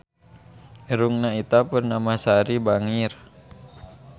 Irungna Ita Purnamasari bangir